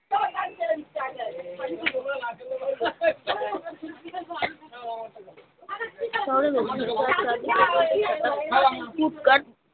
চলো না কি চিৎকার